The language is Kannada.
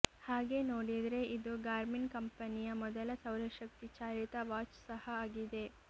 ಹಾಗೇ ನೋಡಿದ್ರೆ ಇದು ಗಾರ್ಮಿನ್ ಕಂಪನಿಯ ಮೊದಲ ಸೌರಶಕ್ತಿ ಚಾಲಿತ ವಾಚ್ ಸಹ ಆಗಿದೆ